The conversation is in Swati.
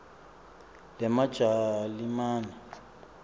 lemajalimane